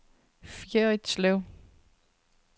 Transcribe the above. Fjerritslev